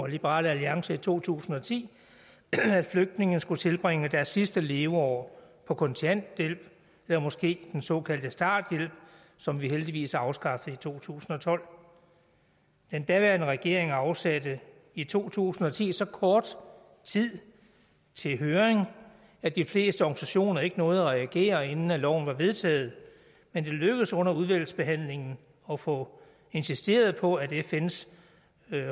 liberal alliance i to tusind og ti at flygtninge skulle tilbringe deres sidste leveår på kontanthjælp eller måske den såkaldte starthjælp som vi heldigvis afskaffede i to tusind og tolv den daværende regering afsatte i to tusind og ti så kort tid til høring at de fleste organisationer ikke nåede at reagere inden loven var vedtaget men det lykkedes under udvalgsbehandlingen at få insisteret på at fns